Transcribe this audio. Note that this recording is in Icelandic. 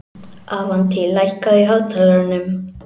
Avantí, lækkaðu í hátalaranum.